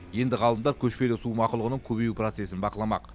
енді ғалымдар көшпелі су мақұлығының көбею процесін бақыламақ